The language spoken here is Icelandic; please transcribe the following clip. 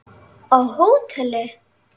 Á hóteli?